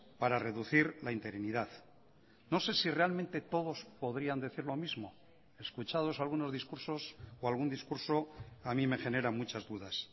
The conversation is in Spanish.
para reducir la interinidad no sé si realmente todos podrían decir lo mismo escuchados algunos discursos o algún discurso a mí me genera muchas dudas